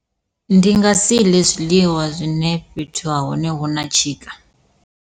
Ndi nga si ḽe zwiḽiwa zwine fhethu ha hone hu na tshika.